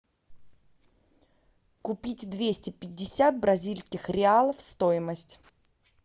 купить двести пятьдесят бразильских реалов стоимость